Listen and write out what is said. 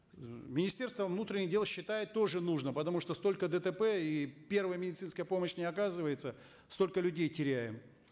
министерство внутренних дел считает тоже нужно потому что столько дтп и первая медицинская помощь не оказывается столько людей теряем